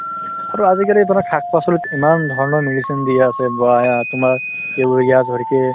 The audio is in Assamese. আৰু আজিকালি ধৰক শাক-পাচলিত ইমান ধৰণৰ medicine দি আছে তোমাৰ urea ধৰিকে